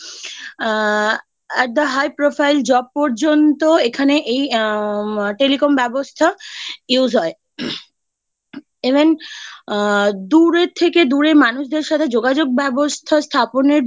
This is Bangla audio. আ একটা high profile job পর্যন্ত এখানে আ telecom ব্যবস্থা Use হয় Even দূরে থেকে দূরে মানুষদের সাথে যোগাযোগ ব্যবস্থা স্থাপনের